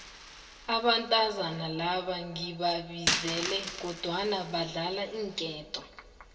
abantazinyana laba ngibabizile kodwana badlala iinketo